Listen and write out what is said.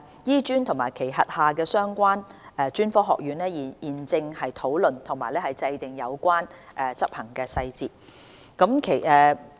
醫專及其轄下的相關專科學院現正討論及制訂有關執行細節。